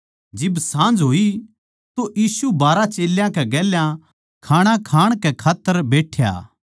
जिब साँझ होई तो यीशु बारहां चेल्यां कै गेल्या खाणा खाण कै खात्तर बैठ्या